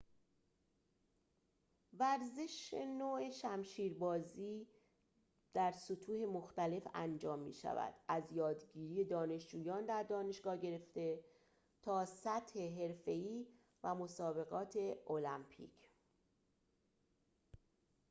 ورزش نو شمشیربازی در سطوح مختلف انجام می‌شود از یادگیری دانشجویان در دانشگاه گرفته تا سطح حرفه‌ای و مسابقات المپیک